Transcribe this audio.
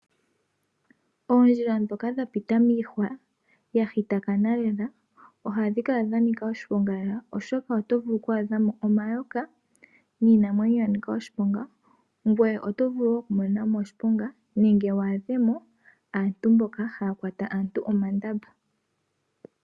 Oondjila dhoka dha pita miihwa dha thitakana lela ohadhi kala dha nika oshiponga lela oshoka oto vulu oku a dha mo omayaka niinamwenyo yanika oshiponga, ngweye oto vulu woo oku monena mo oshiponga nenge wu adhe mo aantu mboka haya kwata aantu omandamba.